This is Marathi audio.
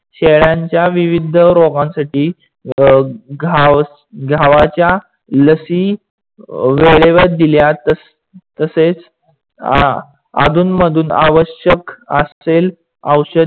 शेळ्यानच्या विविध रोगांसाठी घावाच्या लसी वेडेवर दिल्या तसेच अधूनमधून आवश्यक आसेल औषध